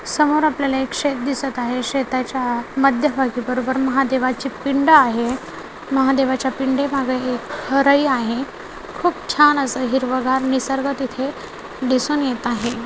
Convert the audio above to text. समोर आपल्याला एक शेत दिसत आहे शेताच्या मध्यभागी बरोबर महादेवाची पिंड आहे महादेवाच्या पिंडे मागं हे हराई आहे खूप छान असं हे हिरवंगार निसर्ग तिथे दिसून येत आहे.